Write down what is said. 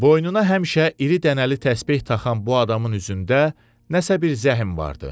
Boynuna həmişə iri dənəli təsbeh taxan bu adamın üzündə nəsə bir zəhm vardı.